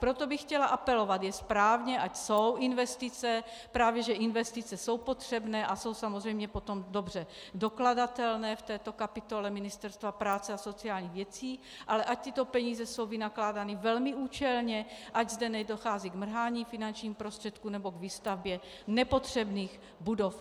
Proto bych chtěla apelovat, je správně, ať jsou investice, právě že investice jsou potřebné a jsou samozřejmě potom dobře dokladatelné v této kapitole Ministerstva práce a sociálních věcí, ale ať tyto peníze jsou vynakládány velmi účelně, ať zde nedochází k mrhání finančních prostředků nebo k výstavbě nepotřebných budov.